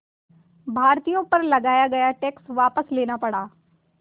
भारतीयों पर लगाया गया टैक्स वापस लेना पड़ा